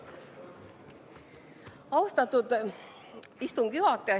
Austatud istungi juhataja!